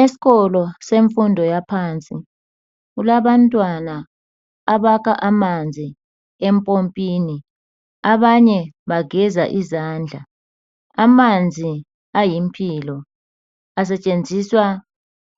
Esikolo semfundo yaphansi kulabantwana abakha amanzi empompini abanye bageza izandla. Amanzi ayimpilo, asetshenziswa